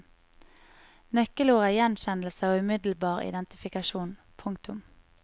Nøkkelord er gjenkjennelse og umiddelbar identifikasjon. punktum